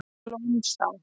Lónsá